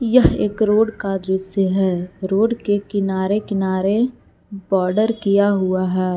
यह एक रोड का दृश्य है रोड के किनारे किनारे बॉर्डर किया हुआ है।